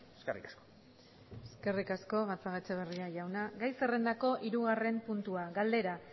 eskerrik asko eskerrik asko gatzagaetxebarria jauna gai zerrendako hirugarren puntua galdera